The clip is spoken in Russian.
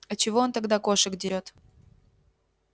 а чего он тогда кошек дерёт